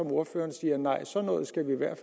ordføreren siger nej sådan noget skal vi i hvert